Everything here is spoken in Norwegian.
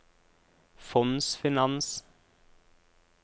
fondsfinans